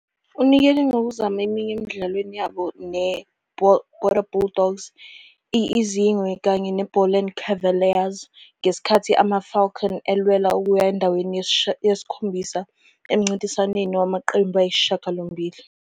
Unikele ngokuzama eminye emidlalweni yabo ne I-Border Bulldogs, i Izingwe kanye IBoland Cavaliers ngesikhathi amaFalcons elwela ukuya endaweni yesi-7 emncintiswaneni wamaqembu ayisishiyagalombili.